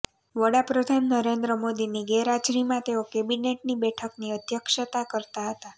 વડા પ્રધાન નરેન્દ્ર મોદીની ગેરહાજરીમાં તેઓ કૅબિનેટની બેઠકની અધ્યક્ષતા કરતા હતા